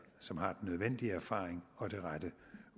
som har den nødvendige erfaring og det rette